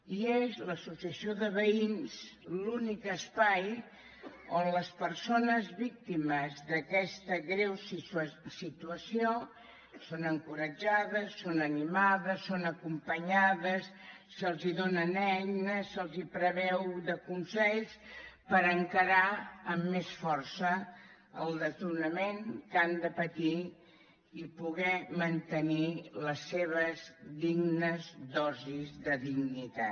i és l’associació de veïns l’únic espai on les persones víctimes d’aquesta greu situació són encoratjades són animades són acompanyades se’ls donen eines se’ls proveeix de consells per encarar amb més força el desnonament que han de patir i poder mantenir les seves dignes dosis de dignitat